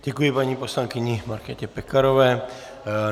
Děkuji paní poslankyni Markétě Pekarové.